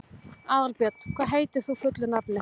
Aðalbjörn, hvað heitir þú fullu nafni?